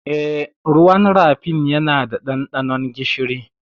Eh, ruwan rafin yana da ɗanɗanon gishiri.